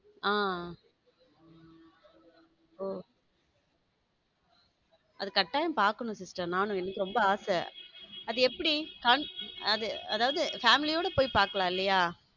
ஆம் ஓஹ அது கட்டாயமா பாக்கணும் sister நானும் எனக்கு ரொம்ப ஆசை அது எப்படி அதாவத family யோட போய் பார்க்கலாம் இல்லையா.